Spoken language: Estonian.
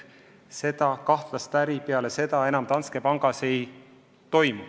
Seda kahtlast äri Danske panga Eesti filiaalis enam ei toimu.